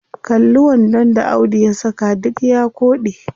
Kalli wandon da audu ya saka, duk ya koɗe.